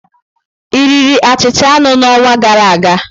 Ị riri achịcha anụ n'ọnwa gara aga?